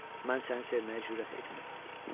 Mən səni sevməyə cürət etmirdim.